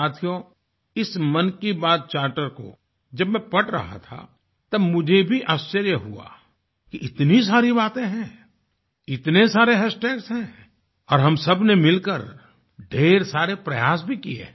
साथियो इस मन की बात चार्टर को जब मैं पढ़ रहा था तब मुझे भी आश्चर्य हुआ कि इतनी सारी बाते हैंइतने सारे हैशटैग्स हैंऔर हम सबने मिलकर ढ़ेर सारे प्रयास भी किए हैं